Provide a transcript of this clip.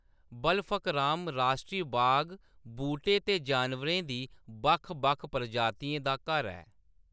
बलफकराम राश्ट्री बाग बूह्‌टें ते जानवरें दी बक्ख-बक्ख प्रजातियें दा घर ऐ।